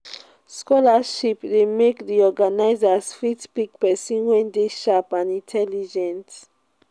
scholarship de make di organisers fit pick persin wey de sharp and intelligent